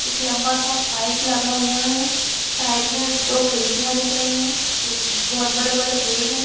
एक लंबा -सा पाइप लगा हुआ है साइड में दो खिड़कियाँ दिख रही है एक बहोत बड़े-बड़े पेड़ हैं ।